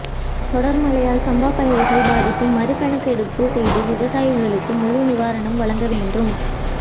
தொடா்மழையால் சம்பா பயிா்கள் பாதிப்பு மறுகணக்கெடுப்பு செய்து விவசாயிகளுக்கு முழு நிவாரணம் வழங்க வேண்டும்